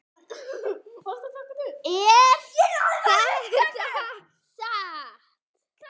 Er þetta satt?